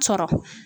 Sɔrɔ